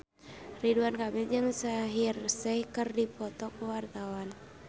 Ridwan Kamil jeung Shaheer Sheikh keur dipoto ku wartawan